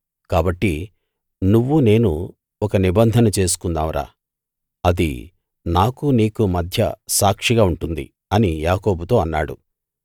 కాబట్టి నువ్వూ నేనూ ఒక నిబంధన చేసుకుందాం రా అది నాకూ నీకూ మధ్య సాక్షిగా ఉంటుంది అని యాకోబుతో అన్నాడు